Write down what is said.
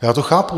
Já to chápu.